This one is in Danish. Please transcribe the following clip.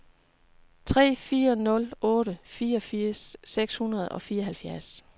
tre fire nul otte fireogfirs seks hundrede og fireoghalvfjerds